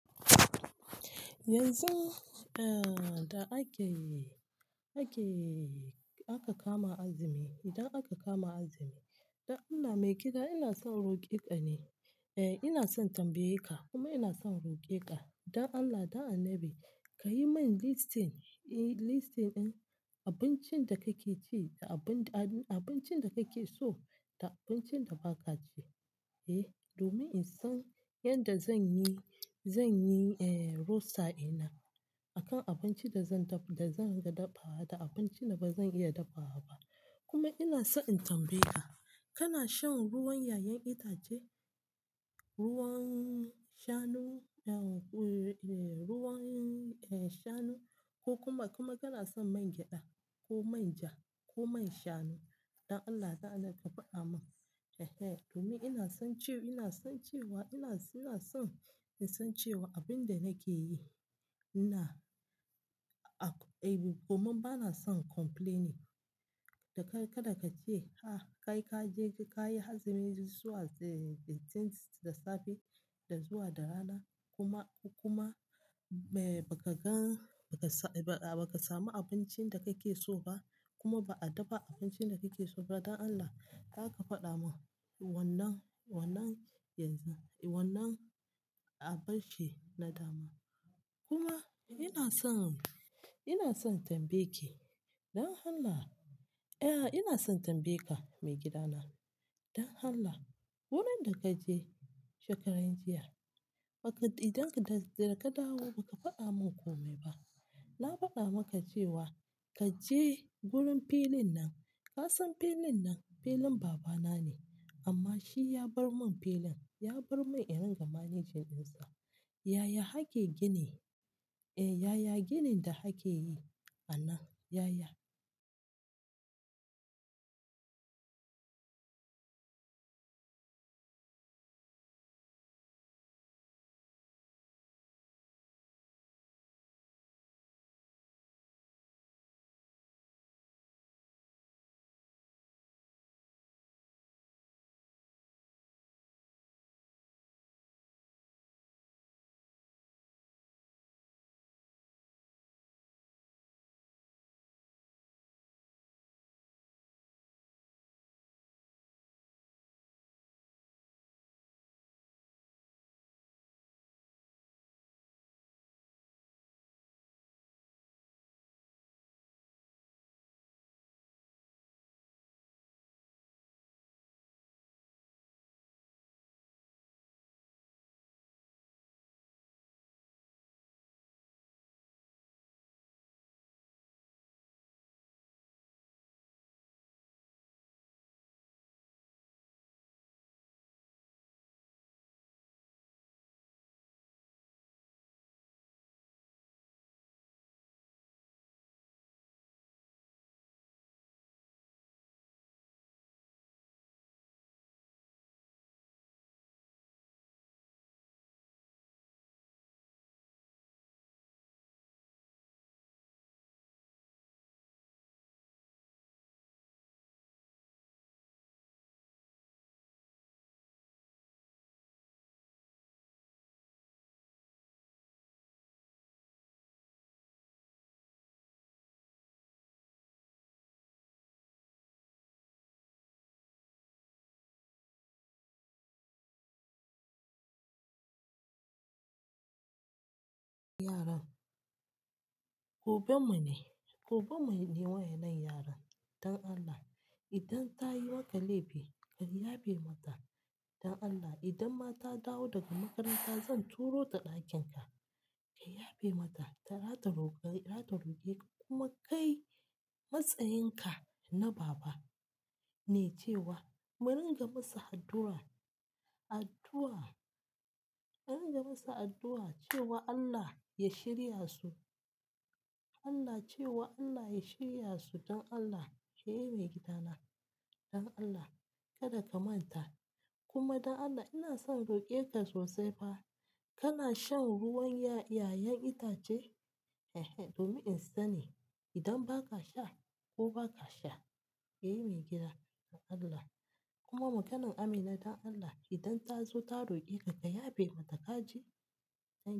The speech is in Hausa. Yanzu, eh da ake yi-- ake, aka kama azumi. Idan aka kama azumi, don Allah mai gida ina son roƙe ka ne. Eh, ina son tambaye ka kuma ina son roƙe ka. Dan Allah, dan annabi ka yi min listing, eh listing ɗin abincin da kake ci da abin da-- abincin da kake so da abincin da ba ka ci, eh. Domin in san yadda zan yi, zan yi eh wulsa ɗina akan abincin da zan dafa, da zan iya dafawa da abincin da ba zan iya dafawa ba. Koma ina san in tambaye ka, kana shan ruwan yayan itace? Ruwan shanu, eh ruwan, eh shanu ko kuma, kuma kana son man gyada ko manja ko man shanu? Don Allah, don Allah ka faɗa min. Ehe, domin ina son cewa, ina son cewa ina, ina son in san cewa abin da nake yi ina, a, eh kuma ba na son complaining. Da kai, kada ka ce har kai kaje ko kayi azumi zuwa, eh da safe da zuwa da rana kuma, kuma, eh ba ka gan, ba ka samu abincin da kake so ba kuma ba a dafa abincin da kake so ba. Don Allah, za ka faɗa min wannan, wannan yanzu, wannan a barci na dama. Kuma ina so, ina son tambaye ki, don Allah, eh ina son tambaye ka mai gida na. Don Allah, wurin da ka je shekaran jiya, idan ka dawo ba ka faɗa min kome ba. Na faɗa maka cewa ka je gurin filin nan. Ka san filin nan, filin babana na ne, amma shi ya bar mun filin, ya bar mun i ringa managing ɗinsa. Yaya ake gini, eh yaya ginin da ake yi a nan, yaya? Yara. Gobe mu ne, gobe mu ne wayanan yaran. Don Allah, idan ta yi maka laifi ka yafe mata. Don Allah, idan ma ta dawo daga makaranta zan turo ta ɗakin ka. Ki yafe mata, ta, za ta roƙe, za ta roƙe ka kuma kai matsayin ka na baba ne cewa mu ringa masa addu'a. Addu'a, mu ringa masa addu'a cewa Allah ya shirya su. Allah cewa Allah ya shirya su don Allah, kayi mai gida na. Don Allah, kada ka manta. Kuma dan Allah ina son roƙe ka sosai fa, kana shan ruwan ya-'ya'yan itace? Ehe, domin in sani idan ba ka sha ko ba ka sha. Eh mai gida, don Allah. Kuma maganan Amina don Allah, idan ta zo ta roƙe ka, ka yafe mata kaji. Don Allah.